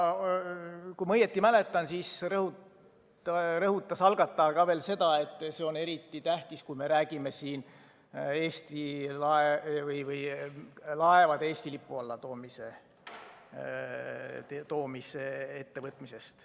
Kui ma õigesti mäletan, siis rõhutas algataja veel seda, et see on eriti tähtis, kui me räägime laevade Eesti lipu alla toomisest.